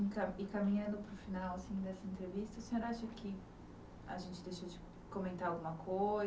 E ca e caminhando para o final assim dessa entrevista, o senhor acha que a gente deixou de comentar alguma coisa?